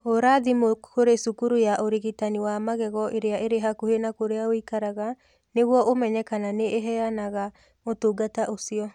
Hũra thimũ kũrĩ cukuru ya ũrigitani wa magego ĩrĩa ĩrĩ hakuhĩ na kũrĩa ũikaraga nĩguo ũmenye kana nĩ ĩheanaga ũtungata ũcio.